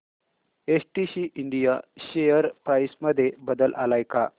STC India share price मध्ये बदल आलाय का